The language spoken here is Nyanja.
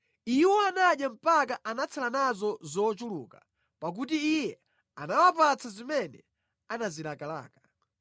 Iwo anadya mpaka anatsala nazo zochuluka pakuti Iye anawapatsa zimene anazilakalaka.